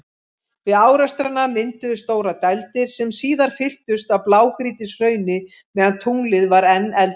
Við árekstrana mynduðust stórar dældir, sem síðar fylltust af blágrýtishrauni meðan tunglið var enn eldvirkt.